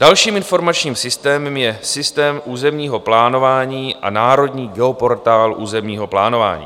Dalším informačním systémem je systém územního plánování a Národní geoportál územního plánování.